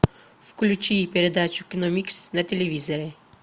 включи передачу киномикс на телевизоре